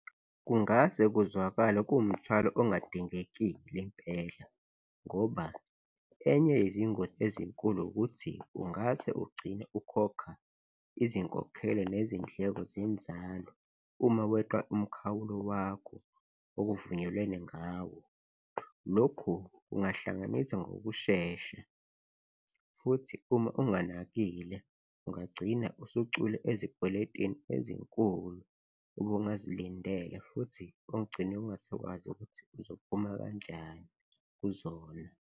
Kungase kuzwakale kuwumthwalo ongadingekile impela ngoba enye yezingozi ezinkulu ukuthi ungase ugcine ukhokha izinkokhelo nezindleko zenzalo uma weqa umkhawulo wakho okuvunyelwene ngawo, lokhu kungahlanganisa ngokushesha futhi uma unganakile ungagcina usucwila ezikweletini ezinkulu ube ungazilindele futhi ugcine ungasakwazi ukuthi uzophuma kanjani kuzona.